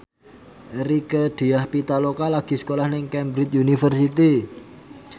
Rieke Diah Pitaloka lagi sekolah nang Cambridge University